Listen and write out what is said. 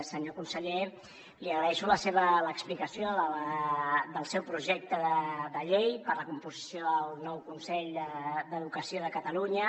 senyor conseller li agraeixo l’explicació del seu projecte de llei per a la composició del nou consell d’educació de catalunya